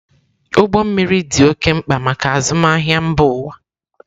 Ụgbọ mmiri dị oké mkpa maka azụmahịa mba ụwa.